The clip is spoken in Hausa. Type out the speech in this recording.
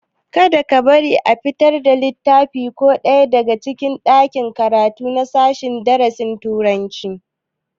Kada ka bari a fitar da littafi ko ɗaya daga ɗakin karatu na sashen darasin turanci!